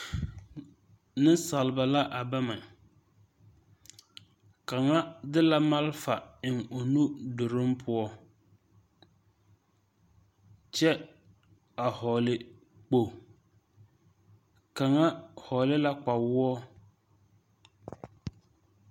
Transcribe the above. Neŋsalba la a bama kaŋa de la malfa eŋ o nu duruŋ poɔ kyɛ a hɔɔle kpo kaŋa hɔɔle la kpawoɔ.